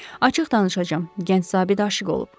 Açıq danışacam, gənc zabit aşiq olub.